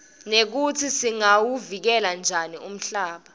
nekutsi singawuvikela njani umhlaba